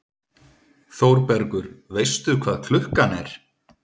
ÞÓRBERGUR: Veistu hvað klukkan er?